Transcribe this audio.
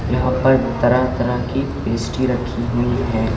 यहां पर तरह तरह की पेस्ट्री रखी हुई हैं।